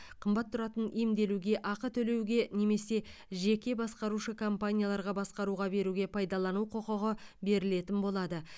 қымбат тұратын емделуге ақы төлеуге немесе жеке басқарушы компанияларға басқаруға беруге пайдалану құқығы берілетін болады